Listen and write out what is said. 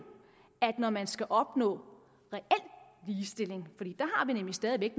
at når man skal opnå reel ligestilling fordi vi jo stadig væk